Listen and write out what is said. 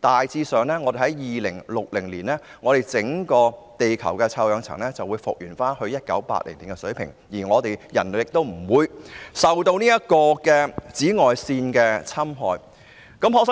大約在2060年，整個地球的臭氧層便能復原至1980年的水平，人類亦不會受到紫外線侵害。